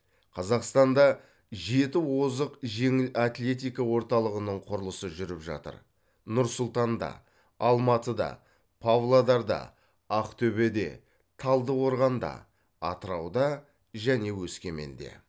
қазақстанда жеті озық жеңіл атлетика орталығының құрылысы жүріп жатыр нұр сұлтанда алматыда павлодарда ақтөбеде талдықорғанда атырауда және өскеменде